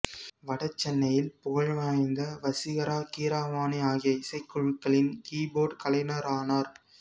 வட சென்னையில் புகழ்வாய்ந்த வசீகரா கீரவாணி ஆகிய இசைக் குழுக்களின் கீபோர்ட் கலைஞரானார்